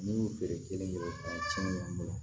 N'i y'u feere kelen dɔrɔn ka cɛn k'an bolo